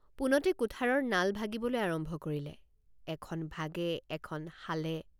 পোনতে কুঠাৰৰ নাল ভাগিবলৈ আৰম্ভ কৰিলে এখন ভাগে এখন শালে।